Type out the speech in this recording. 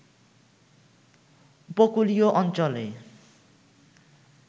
উপকূলীয় অঞ্চলে